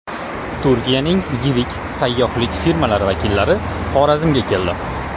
Turkiyaning yirik sayyohlik firmalari vakillari Xorazmga keldi.